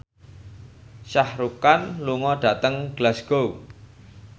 Shah Rukh Khan lunga dhateng Glasgow